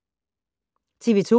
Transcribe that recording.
TV 2